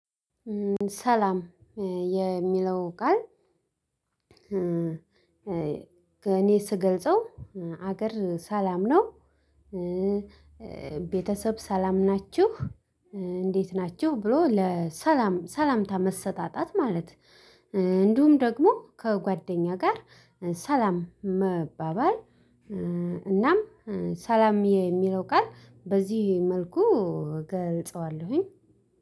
ሰላም የሚለው ቃል እኔ ስገልጸው ሀገር ሰላም ነው። ቤተሰብ ሰላም ናችሁ እንዴት ናችሁ ብሎ ለሰላም ሰላምታ መሰጣጣት ማለት። እንዲሁም ደግሞ ከጓደኛ ጋር ሰላም መባባል። እናም ሰላም የሚለው ቃል በዚህ መልኩ እገልጸዋለሁኝ።